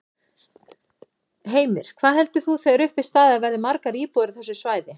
Heimir: Hvað heldur þú þegar upp er staðið að verði margar íbúðir á þessu svæði?